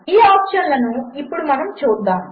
ఈఆప్షన్లనుఇప్పుడుమనముచూద్దాము